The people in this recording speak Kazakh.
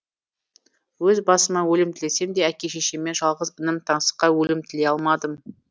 өз басыма өлім тілесем де әке шешеме жалғыз інім таңсыққа өлім тілей алмадым